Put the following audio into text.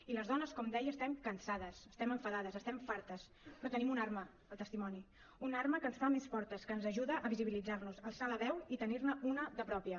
i les dones com deia estem cansades estem enfadades n’estem fartes però tenim una arma el testimoni una arma que ens fa més fortes que ens ajuda a visibilitzar nos a alçar la veu i tenir ne una de pròpia